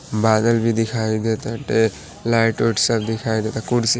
बादल भी दिखाई देत आटे लाइट ओइट सब दिखाई डेट आ उधर कुर्सी--